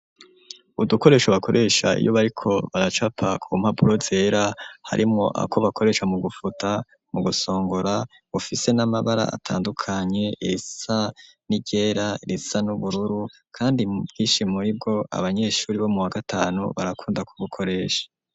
Udukoresho ,bakoresha iyo bariko baracapa, ku mpapuro zera ,harimwo ako bakoresha mu gufuta, mu gusongora, bufise n'amabara atandukanye ,isa n'iryera, risa n'ubururu, kandi Ubwishi muribwo ,abanyeshuri bo mu wagatanu, barakunda ku bukoresha.